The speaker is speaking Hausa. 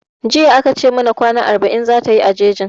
Jiya a ka ce mana kwana arba'in zata yi a jejin